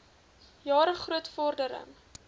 jare groot vordering